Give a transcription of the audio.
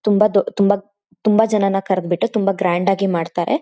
ತುಂಬಾ ದೊ ತುಂಬಾ ತುಂಬಾ ಜನನ ಕಾರ್ದ್ ಬಿಟ್ಟು ತುಂಬಾ ಗ್ರಾಂಡ್ ಆಗಿ ಮಾಡ್ತಾರೆ.